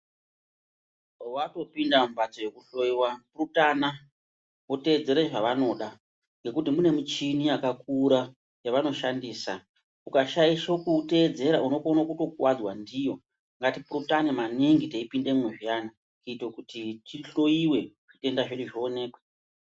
Wakupinda mumbatso yekuhloyiwa purutana, wotedzere zvavanoda ngekuti mune muchini yakakura yavanoshandisa, ukashaisha kutedzera unokona kutokuwadzwa ndiyo. Ngati purutane maningi teipindemo zviyani kuitei kuti tihloyiwe zvitenda zvedu zvionekwe.